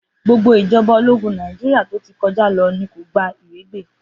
Gbogbo ìjọba ológún Nàìjíríà tó ti kọjá lọ ní kò gba ìrégbè.